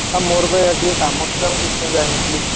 ଆଉ ମୋର ବା ଇଆଡେ ଟିକେ କାମ ଥିଲା ମୁଁ ସେଇଥି ପାଇଁ ଯାଇନଥିଲି।